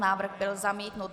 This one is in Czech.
Návrh byl zamítnut.